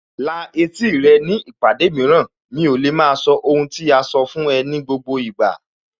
La etí rẹ ní ìpàdé mìíràn, mi ò lè maa sọ ohun tí a sọ fún ẹ ní gbogbo ìgbà